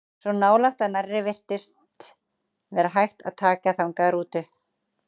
Svo nálægt að nærri virtist vera hægt að taka þangað rútu.